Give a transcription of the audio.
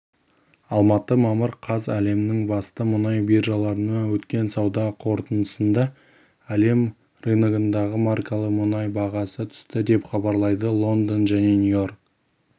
алматы мамыр қаз әлемнің басты мұнай биржаларында өткен сауда қортындысында әлем рыногындағы маркалы мұнай бағасы түсті деп хабарлайды лондон және нью-йорк